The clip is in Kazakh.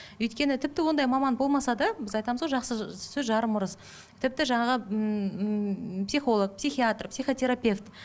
өйткені тіпті ондай маман болмаса да біз айтамыз ғой жақсы сөз жарым ырыс тіпті жаңағы ммм психолог психиатр психотерапевт